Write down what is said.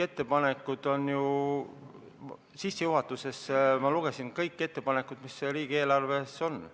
Ma sissejuhatuses lugesin ette kõik ettepanekud, mis riigieelarve kohta on.